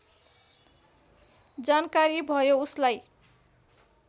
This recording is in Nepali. जानकारी भयो उसलाई